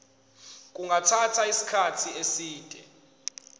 kungathatha isikhathi eside